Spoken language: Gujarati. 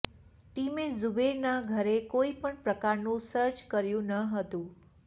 ટીમે ઝૂબેરના ઘરે કોઈપણ પ્રકારનું સર્ચ કર્યું ન હતું